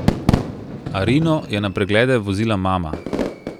Arino je na preglede vozila mama.